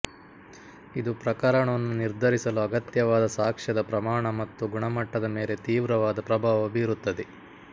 ಇದು ಪ್ರಕರಣವನ್ನು ನಿರ್ಧರಿಸಲು ಅಗತ್ಯವಾದ ಸಾಕ್ಷ್ಯದ ಪ್ರಮಾಣ ಮತ್ತು ಗುಣಮಟ್ಟದ ಮೇಲೆ ತೀವ್ರವಾದ ಪ್ರಭಾವ ಬೀರುತ್ತದೆ